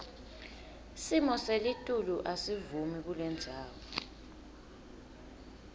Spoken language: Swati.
simoselitulu asivumi kulendzawo